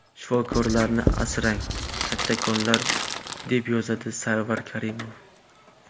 Shifokorlarni asrang, kattakonlar”, deb yozadi Sarvar Karimov.